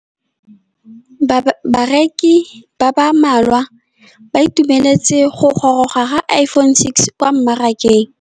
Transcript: Bareki ba ba malwa ba ituemeletse go gôrôga ga Iphone6 kwa mmarakeng.